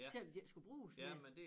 Selvom de ikke skulle bruges mere